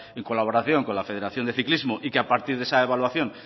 en colaboración con la federación de ciclismo y que a partir de esa evaluación